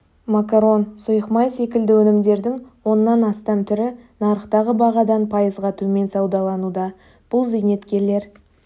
макарон сұйық май секілді өнімдердің оннан астам түрі нарықтағы бағадан пайызға төмен саудалануда бұл зейнеткерлер